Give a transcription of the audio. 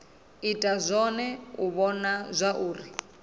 ita zwone u vhona zwauri